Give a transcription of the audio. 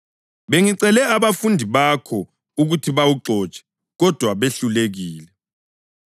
Bengicele abafundi bakho ukuthi bawuxotshe, kodwa behlulekile.”